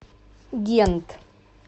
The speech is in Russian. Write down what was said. гент